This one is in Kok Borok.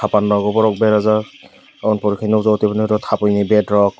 panna bo borok berajak oboni pore kheno thampuini bed rok.